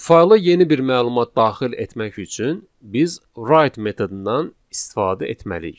Fayla yeni bir məlumat daxil etmək üçün biz write metodundan istifadə etməliyik.